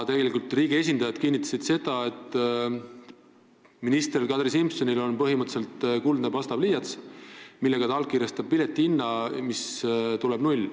Riigi esindajad kinnitasid seda, et minister Kadri Simsonil on põhimõtteliselt kuldne pastapliiats, millega ta allkirjastab piletihinna ja see tuleb null.